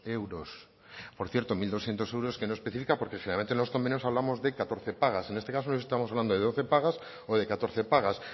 euros por cierto mil doscientos euros que no especifica porque si generalmente en los convenios hablamos de catorce pagas en este caso estamos de doce pagas o de catorce pagas